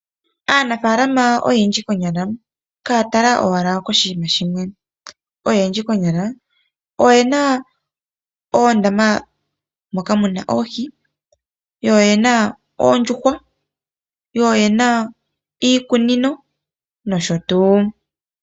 Aanafaalama oyendji konyala kaya tala owala koshinima shimwe, oyendji konyala oyena oondama moka mu na oohi, yo oyena oondjuhwa yo oyena iikunino nosho tuu.